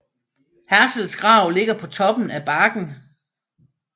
Herzls grav ligger på toppen af bakken